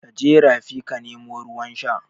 Kaje rafi ka nemo ruwan sha